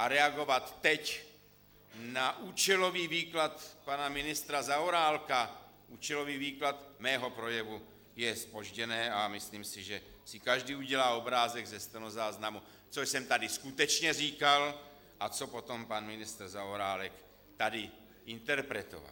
A reagovat teď na účelový výklad pana ministra Zaorálka, účelový výklad mého projevu, je zpožděné a myslím si, že si každý udělal obrázek ze stenozáznamu, co jsem tady skutečně říkal a co potom pan ministr Zaorálek tady interpretoval.